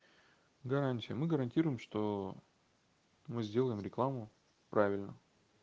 гарантия мы гарантируем что мы сделаем рекламу правильно